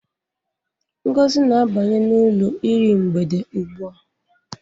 Ngozi na-abanye ụlọ iru mgbede ugbua.